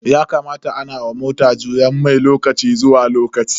Yakamata ana wa mota juyen mai lokaci zuwa lokaci.